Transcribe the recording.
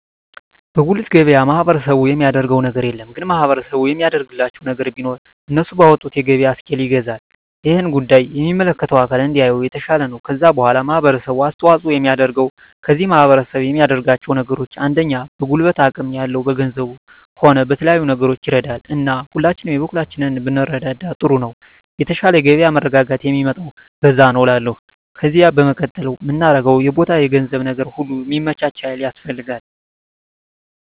በጉልት ገበያ ማህበረሰቡ የሚያደረገው ነገር የለም ግን ማህበረሰቡ የሚያደርግላቸው ነገር ቢኖር እነሱ ባወጡት የገበያ እስኪል ይገዛል እሄን ጉዳይ የሚመለከተው አካል እንዲያየው የተሻለ ነው ከዛ በዋላ ማህበረሰቡ አስተዋጽኦ የሚያደርገው ከዚህ ማህረሰብ የሚያደርጋቸው ነገሮች አንደኛ በጉልበት አቅም ያለው በገንዘቡም ሆነ በተለያዩ ነገሮች ይረዳል እና ሁላችንም የበኩላችንን ብንረዳዳ ጥሩ ነው የተሻለ የገበያ መረጋጋት ሚመጣው በዛ ነዉ እላለሁ ከዜ በመቀጠል ምናገረው የቦታ የገንዘብ ነገር ሁሉ ሚመቻች ሀይል ያስፈልጋል